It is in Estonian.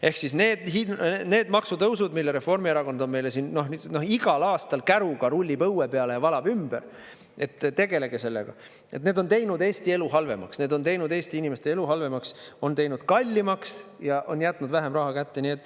Ehk siis need maksutõusud, mille Reformierakond on meile siin, igal aastal käruga rullib õue peale ja valab ümber, et tegelege sellega, need on teinud Eesti elu halvemaks, need on teinud Eesti inimeste elu halvemaks, on teinud kallimaks ja on jätnud vähem raha kätte.